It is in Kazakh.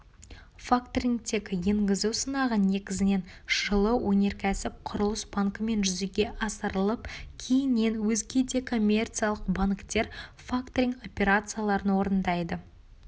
факторингті енгізу сынағы негізінен жылы өнеркәсіп құрылыс банкімен жүзеге асырылып кейіннен өзге де коммерциялық банктер факторинг операцияларын орындай